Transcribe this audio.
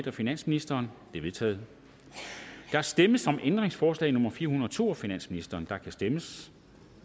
af finansministeren de er vedtaget der stemmes om ændringsforslag nummer fire hundrede og to af finansministeren og der kan stemmes